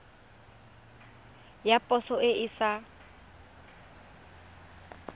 ya poso e e sa